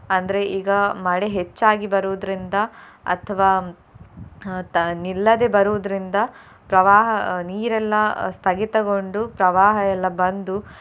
ಅಂದ್ರೆ ಈಗ ಮಳೆ ಹೆಚ್ಚಾಗಿ ಬರುವುದ್ರಿಂದ ಅಥವಾ ಅಹ್ ತ~ ನಿಲ್ಲದೆ ಬರುವುದ್ರಿಂದ ಪ್ರವಾಹ ಅಹ್ ನೀರೆಲ್ಲ ಸ್ಥಗಿತಗೊಂಡು ಪ್ರವಾಹ ಎಲ್ಲ ಬಂದು.